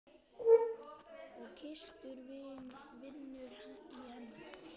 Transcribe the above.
Og Kristur vinnur í henni.